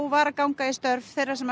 var að ganga í störf þeirra sem